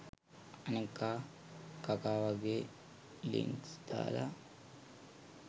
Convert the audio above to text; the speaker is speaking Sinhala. අනෙක කකා වගේ ලින්ක් දාල